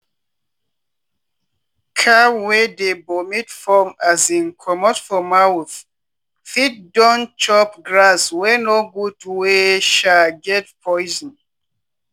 cow wey dey vomit foam um comot for mouth fit don chop grass wey no good wey um get poison.